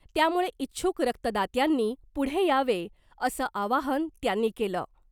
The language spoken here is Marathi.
त्यामुळे इच्छुक रक्तदात्यांनी पुढे यावे असं आवाहन त्यांनी केलं .